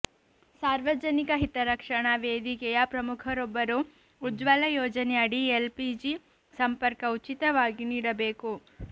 ಸಾರ್ವಜನಿಕ ಹಿತರಕ್ಷಣಾ ವೇದಿಕೆಯ ಪ್ರಮುಖರೊಬ್ಬರು ಉಜ್ವಲ ಯೋಜನೆ ಅಡಿ ಎಲ್ಪಿಜಿ ಸಂಪರ್ಕ ಉಚಿತವಾಗಿ ನೀಡಬೇಕು